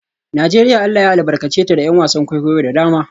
Najeriya Allah ya albarkace ta da ’yan wasan kwaikwayo da dama